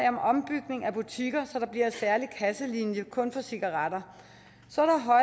om ombygning af butikker så der bliver en særlig kasselinje kun for cigaretter så